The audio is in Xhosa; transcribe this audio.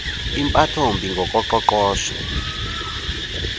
impatho mbi ngokoqoqosho